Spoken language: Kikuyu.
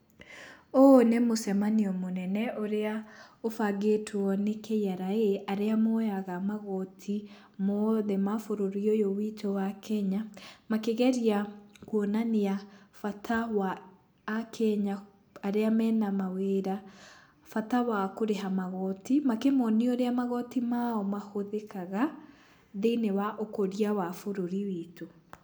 Ũyũ nĩ mũcemanio mũnene ũrĩa ũbangĩtwo nĩ KRA arĩa moyaga magoti mothe mabũrũri ũyũ witũ wa kenya. Makĩgeria kwonania bata wa akenya arĩa mena mawĩra bata wa kũrĩha magoti. Makĩmonia ũrĩa magoti mao mahũthĩkaga thĩiniĩ wa ũkũria wa bũrũri witũ.